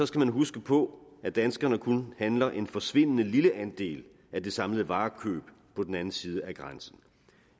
skal man huske på at danskerne kun handler en forsvindende lille andel af det samlede varekøb på den anden side af grænsen